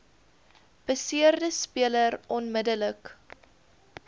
beseerde speler onmiddellik